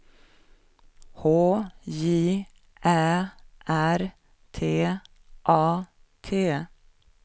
H J Ä R T A T